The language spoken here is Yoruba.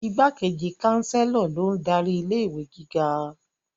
Igbákejì Chancellor lo n darí ilé-ìwé gíga